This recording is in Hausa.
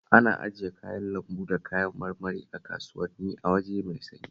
Ana ajiye kayan lambu da kayan marmari a kasuwanni a waje mai sanyi